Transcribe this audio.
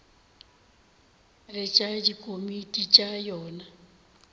le tša dikomiti tša yona